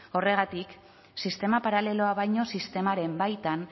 horregatik sistema paraleloa baino sistemaren baitan